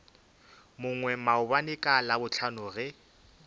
mongwe maabane ka labohlano ge